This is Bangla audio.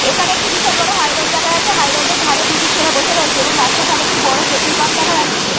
এখানে একটি বিশাল বড় হাই রোড দেখা যাচ্ছে হাই রোডের ধারে দুটি ছেলে বসে রয়েছে এবং রাস্তার ধারে একটি বড় পেট্রোল পাম্প দেখা যাচ্ছে।